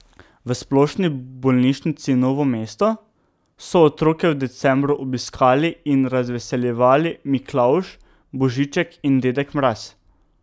V Splošni bolnišnici Novo mesto so otroke v decembru obiskali in razveseljevali Miklavž, Božiček in dedek Mraz.